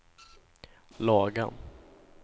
Lagan